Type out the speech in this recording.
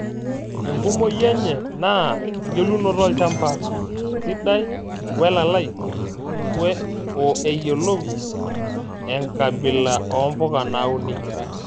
Enkumoi enye naa engelunoto olchamba sidai welalai oo ayiolou enkabila oombuka nauni.